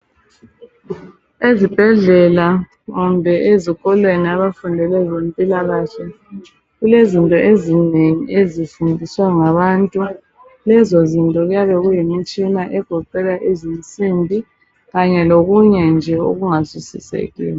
Ezibhedlela kumbe ezikolweni abafundi bezempilakahle, kulezinto ezinengi ezifundiswa ngabantu lezo zinto kuyabe kuyimitshina egoqela izinsimbi kanye lokunye nje okungazwisisekiyo.